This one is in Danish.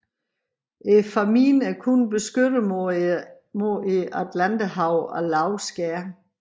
Fámjin er kun beskyttet mod Atlanterhavet af lave skær